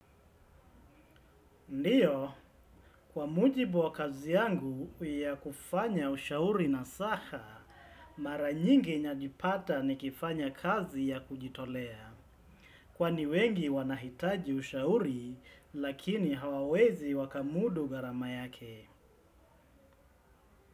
Ndiyo, kwa mujibu wa kazi yangu ya kufanya ushauri na saha, mara nyingi najipata nikifanya kazi ya kujitolea. Kwani wengi wanahitaji ushauri, lakini hawawezi wakamudu gharama yake.